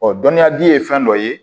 Ɔ dɔnniyaji ye fɛn dɔ ye